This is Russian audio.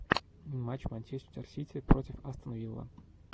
матч манчестер сити против астон вилла